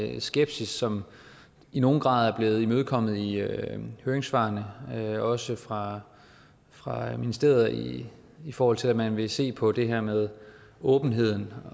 en skepsis som i nogen grad er blevet imødekommet i høringssvarene også fra fra ministeriet i i forhold til at man vil se på det her med åbenhed